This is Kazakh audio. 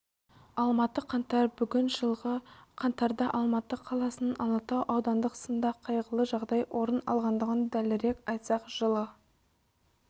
алматы қаңтар бүгін жылғы қаңтардаалматы қаласының алатау аудандық сында қайғылы жағдай орын алғандығын дәлірек айтсақ жылы